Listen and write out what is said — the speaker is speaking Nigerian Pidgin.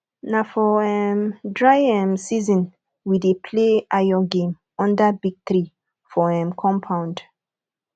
na for um dry um season we dey play ayo game under big tree for um compound